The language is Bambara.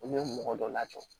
Olu ye mɔgɔ dɔ lajɔ